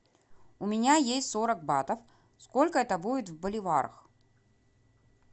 у меня есть сорок батов сколько это будет в боливарах